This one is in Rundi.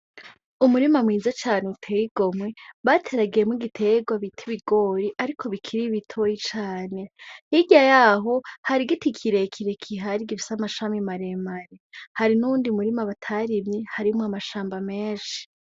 Umurima mwiza cane uteye igomwe bateragiyemwo igiterwa bita ibigori, ariko bikiri bitoya cane. Hirya yaho hari igiti kire kire gihari gifise amashami mare mare. Hari n’uwundi murima batarimye, harimwo amashamba menshi.